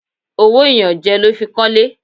Owó ìyànjẹ ló fi kọ́lé.